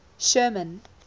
sherman